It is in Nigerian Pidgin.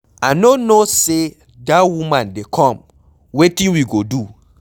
I no know say dat woman dey come, wetin we go do?